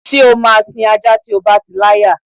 S̩é ó máa sin ajá tí o bá ti láya?